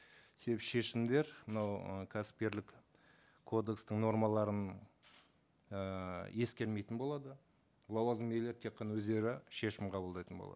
шешімдер мынау ы кәсіпкерлік кодекстің нормаларын ііі ескермейтін болады лауазымды иелер тек қана өздері шешім қабылдайтын болады